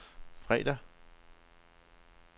fredag